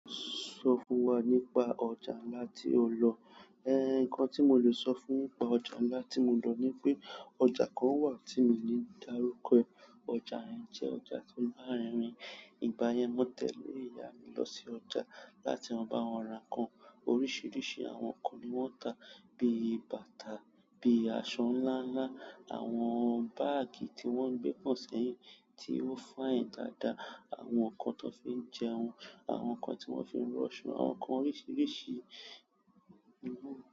Sọ fún wa nípa ọjà ńlá tí o lọ. Nǹkan tí mo le sọ fún nípa ọjà ńlá tí mo lọ ni pé ọjà kan wà tí mi ò ní dárúkọ ẹ̀. Ọjà yẹn jẹ́ ọjà to. Ìgbà yẹn, mo tẹ̀lẹ́ ìyá mi lọ sí ọjà láti lo bá wọn ra nǹkan. Oríṣiríṣi àwọn nǹkan ni wọ́n n tá. Bíi bàtà, bíi aṣọ ńlá ńlá, àwọn báàgì tí wọ́n n gbé pon sẹ́yìn tí ó fayin dáadáa, àwọn nǹkan tan fi ń jẹun, àwọn nǹkan tí wọ́n fi ń ranso àwọn nǹkan oríṣiríṣi.